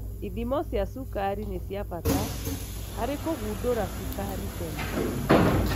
Ithimo cia cukari ni cia bata harĩ kũgundũra cukari tene.